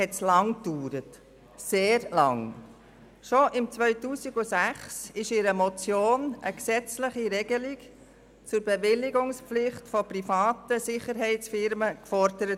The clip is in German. Bereits im Jahr 2006 wurde in einer Motion die gesetzliche Regelung einer Bewilligungspflicht für private Sicherheitsfirmen verlangt.